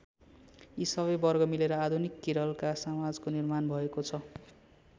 यी सबै वर्ग मिलेर आधुनिक केरलका समाजको निर्माण भएको छ।